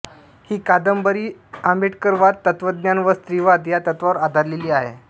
ही कादंबरी आंबेडकरवाद तत्त्वज्ञान व स्त्रीवाद या तत्त्वांवर आधारलेली आहे